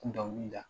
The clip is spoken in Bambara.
Kun dɔnkili da